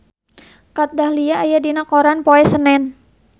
Kat Dahlia aya dina koran poe Senen